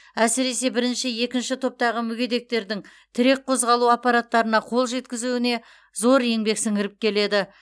әсіресе бірінші екінші топтағы мүгедектердің тірек қозғалу аппараттарына қол жеткізуіне зор еңбек сіңіріп келеді